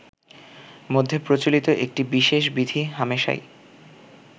মধ্যে প্রচলিত একটি বিশেষ বিধি হামেশাই